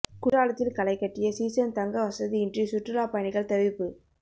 குற்றாலத்தில் களை கட்டிய சீசன் தங்க வசதியின்றி சுற்றுலா பயணிகள் தவிப்பு